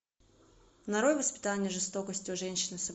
нарой воспитание жестокости у женщины